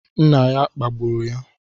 Nna ya kpagburu ya